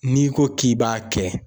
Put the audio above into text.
N'i ko k'i b'a kɛ